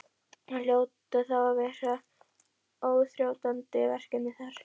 Það hljóta þá að vera óþrjótandi verkefni þar?